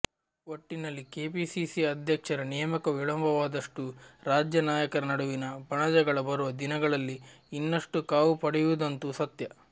ಒಟ್ಟಿನಲ್ಲಿ ಕೆಪಿಸಿಸಿ ಅಧ್ಯಕ್ಷರ ನೇಮಕ ವಿಳಂಬವಾದಷ್ಟೂ ರಾಜ್ಯ ನಾಯಕರ ನಡುವಿನ ಬಣಜಗಳ ಬರುವ ದಿನಗಳಲ್ಲಿ ಇನ್ನಷ್ಟು ಕಾವು ಪಡೆಯುವುದಂತೂ ಸತ್ಯ